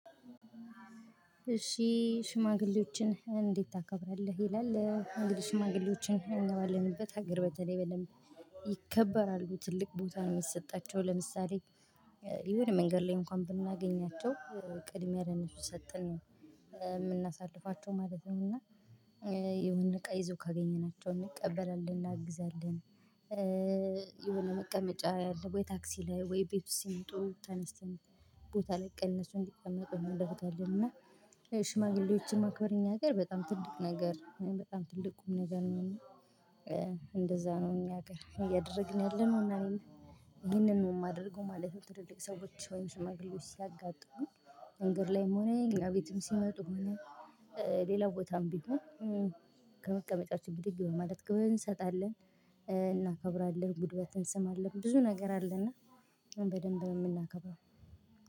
እሺ ሽማግሌዎችን እንዴት ታከብራለህ ይላል እንግዲህ ሽማግሌዎችን እኛ ባለንበት ሀገር በተለይ በደምብ ይከበራሉ ትልቅ ቦታ ነው ምሰጣቸው ለምሳሌ የሆነ መንገድ ላይ እንኳን ብናገኛቸው ቅድሚያ ለነሱ ሰተን ምናሳልፋቸው ማለት ነው እና የሆነ እቃ ይዞ ካገኘናቸው እንቀበላለን። እናግዛለን የሆነ መቀመጫ ያለበት ታክሲ ላይ ወይ ቤት ውስጥ ሲመጡ ተነስተን ቦታ ላይ እነሱ እንዲቀመጡ እናደደርጋለን። እና ሽማግሌዎችን ማክበር እኛ ሀገር በጣም ትልቅ ነገር በጣም ትልቅ ቁም ነገር ነው። እና እንደዛ ነው። እኛ ሀገር እያደረግን ያለነው እና ይሄንን ነው የማደርገው ማለት ነው። ትልቅ ሰዎች ወይም ሽማግሌዎች ሲያጋጥሙኝ መንገድ ላይም ሆነ እኛ ቤትም ሲመጡ ሆነ ሌላ ቦታም ቢሆን ከመቀመጫችን ብድግ በማለት ክብር እንሰጣለን፣ እናከብራለን፣ ጉልበት እንስማለን። ብዙ ነገር አለና በደንብ ነው የምናከብረው።